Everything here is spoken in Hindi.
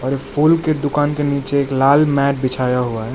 और फूल के दुकान के नीचे एक लाल मैट बिछाया हुआ है।